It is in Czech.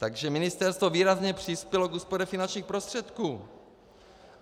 Takže ministerstvo výrazně přispělo k úspoře finančních prostředků.